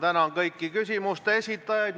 Lõpetan selle küsimuse käsitlemise.